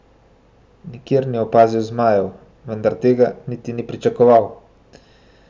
Nikjer ni opazil zmajev, vendar tega niti ni pričakoval.